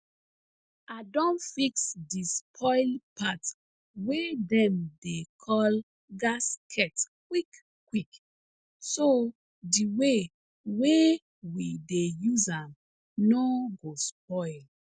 i don fix di spoil part wey dem dey call gasket quick quick so di way wey we dey use am no go spoil